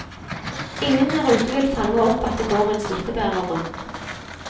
Ingen der ute vil fange opp at det går en smittebærer rundt.